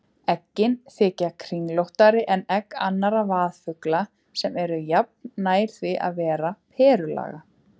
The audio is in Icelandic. Eggin þykja kringlóttari en egg annarra vaðfugla sem eru jafnan nær því að vera perulaga.